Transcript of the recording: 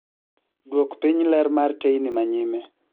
Dwok piny ler mar teyni manyime